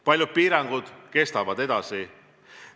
Paljud piirangud kestavad edasi.